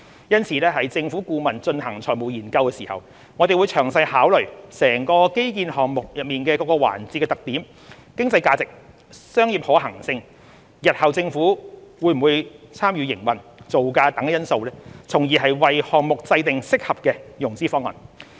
因此，政府顧問進行財務研究時，會詳細考慮整個基建項目內各個環節的特點、經濟價值、商業可行性、日後政府會否參與營運、造價等因素，從而為項目制訂適合的融資方案。